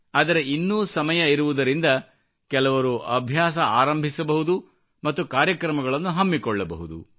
ಆದರೆ ಇನ್ನೂ ಸಮಯ ಇರುವುದರಿಂದ ಕೆಲವರು ಅಭ್ಯಾಸ ಆರಂಭಿಸಬಹುದು ಮತ್ತು ಕಾರ್ಯಕ್ರಮಗಳನ್ನು ಹಮ್ಮಿಕೊಳ್ಳಬಹುದು